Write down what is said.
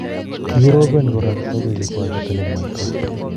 kikiroben kora togochi kwak kito nemwoito